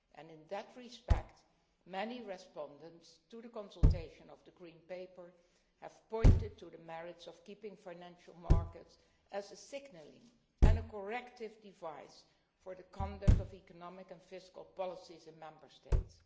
In that respect, many respondents to the consultation of the Green Paper have pointed to the merits of keeping financial markets as a signalling and corrective device for the conduct of economic and fiscal policies in Member States.